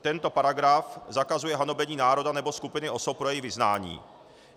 Tento paragraf zakazuje hanobení národa nebo skupiny osob pro jejich vyznání.